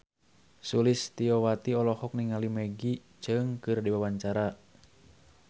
Sulistyowati olohok ningali Maggie Cheung keur diwawancara